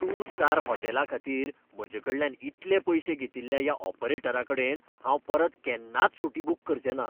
Two star होटॅलाखातीर म्हजेकडल्यान इतले पयशे घेतिल्ल्या ह्या ऑपरेटराकडेन हांव परत केन्नाच सुटी बूक करचें ना.